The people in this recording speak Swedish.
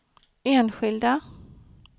enskilda